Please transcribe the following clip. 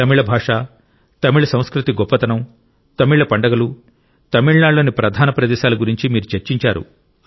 తమిళ భాష తమిళ సంస్కృతి గొప్పతనం తమిళ పండుగలు తమిళనాడులోని ప్రధాన ప్రదేశాల గురించి మీరు చర్చించారు